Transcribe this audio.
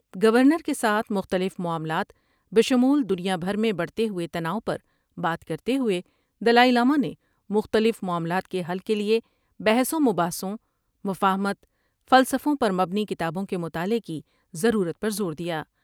Governor کے ساتھ مختلف معاملات بشمول دنیا بھر میں بڑھتے ہوئے تناؤ پر بات کرتے ہوئے دلائی لامہ نے مختلف معاملات کے حل کیلئے بحث و مباحثوں ، مفاہمت ، فلسفوں پر مبنی کتابوں کے مطالع کی ضرورت پر زور دیا ۔